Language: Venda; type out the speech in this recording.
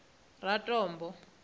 ratombo